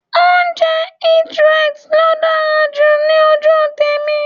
Oúnjẹ Eat-right ló dára jù ní ojú tèmi.